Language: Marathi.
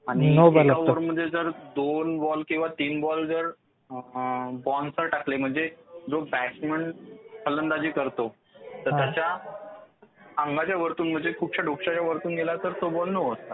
आणि एका ओव्हरमध्ये जर दोन बॉल किंवा तीन बॉल बाउन्सर टाकले म्हणजे जो बॅट्समन फलंदाजी करतो त्याच्या अंगाच्या वरतून म्हणजे डोक्याच्या वरतून गेला तर तो बॉल नो असतो.